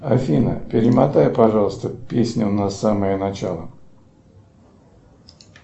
афина перемотай пожалуйста песню на самое начало